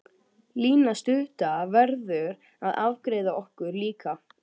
Lína stutta verður að afgreiða okkur líka.